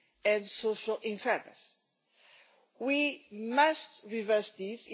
and social unfairness. We must reverse this.